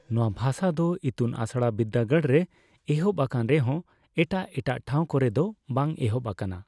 ᱱᱚᱣᱟ ᱵᱷᱟᱥᱟ ᱫᱚ ᱤᱛᱩᱱ ᱟᱥᱲᱟ ᱵᱤᱨᱫᱟᱹᱜᱟᱲ ᱨᱮ ᱮᱦᱚᱵ ᱟᱠᱟᱱ ᱨᱮᱦᱚᱸ ᱮᱴᱟᱜᱼᱮᱴᱟᱜ ᱴᱷᱟᱸᱣ ᱠᱚᱨᱮ ᱫᱚ ᱵᱟᱝ ᱮᱦᱚᱵ ᱟᱠᱟᱱᱟ᱾